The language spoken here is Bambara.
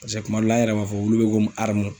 Paseke kuma dɔ la, an yɛrɛ b'a fɔ wulu be ko